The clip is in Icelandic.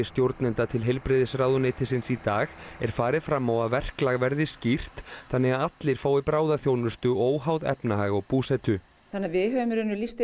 stjórnenda til heilbrigðisráðuneytisins í dag er farið fram á að verklag verði skýrt þannig að allir fái bráðaþjónustu óháð efnahag og búsetu þannig við höfum í raun lýst